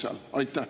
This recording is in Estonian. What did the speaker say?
Aitäh!